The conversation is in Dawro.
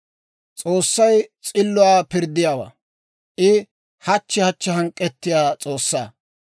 S'oossay s'illuwaa pirddiyaawaa; I hachchi hachchi hank'k'ettiyaa S'oossaa.